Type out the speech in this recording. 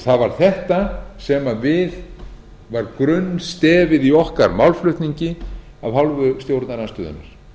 það var þetta sem var grunnstefið í okkar málflutningi af hálfu stjórnarandstöðunnar